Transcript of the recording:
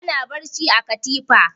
Ana barci a katifa.